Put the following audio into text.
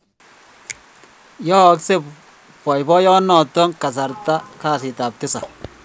yaaksei boiboiyet notok kasarta kasit ab tisap